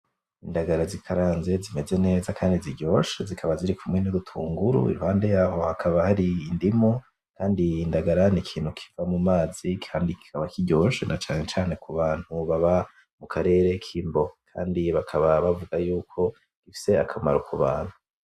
Indagara zikaranze zimeze neza kandi ziryoshe, zikaba ziri kumwe n'udutunguru, iruhande yaho hakaba hari indimu, kandi indagara ni ikintu kiba mumazi kandi kikaba kiryoshe, na cane cane kubantu baba mu karere k'Imbo. Kandi bakaba bavuga yuko zifise akamaro ku bantu.